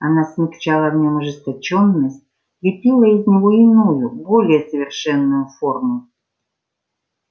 она смягчала в нём ожесточённость лепила из него иную более совершенную форму